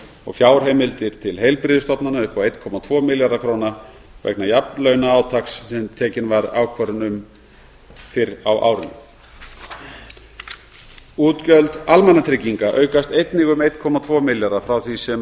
og fjárheimildir til heilbrigðisstofnana upp á um einn komma tvo milljarða króna vegna jafnlaunaátaks sem tekin var ákvörðun um fyrr á árinu útgjöld almannatrygginga aukast einnig um einn komma tvo milljarða frá því sem